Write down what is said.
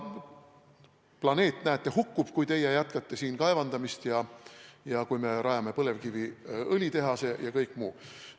Planeet, näete, hukkub, kui teie jätkate siin kaevandamist ja kui me rajame põlevkiviõli tehase ja kõik muu.